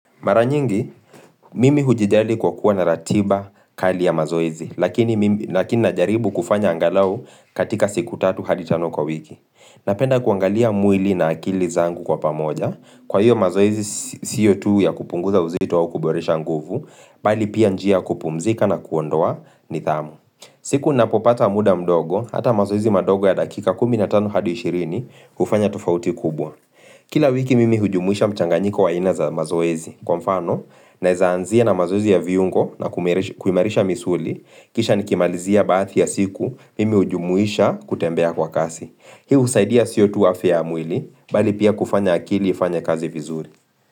Mara nyingi, mimi hujijali kwa kuwa na ratiba kali ya mazoezi, lakini mimi lakini najaribu kufanya angalau katika siku tatu hadi tano kwa wiki. Napenda kuangalia mwili na akili zangu kwa pamoja, kwa hiyo mazoezi siyo tu ya kupunguza uzito au kuboresha nguvu, bali pia njia ya kupumzika na kuondoa nidhamu. Siku napopata muda mdogo, hata mazoezi madogo ya dakika kumi na tano hadi shirini hufanya tofauti kubwa. Kila wiki mimi hujumuisha mchanganyiko wa aina za mazoezi, kwa mfano naeza anzia na mazoezi ya viungo na kuimarisha misuli kisha nikimalizia baadhi ya siku mimi hujumuisha kutembea kwa kasi. Hii husaidia siyo tu afya ya mwili bali pia kufanya akili ifanye kazi vizuri.